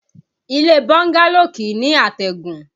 Ilé bọ́ńgálò kìí ní àtẹ̀gùn